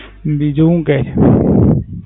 બીજું હુ કે?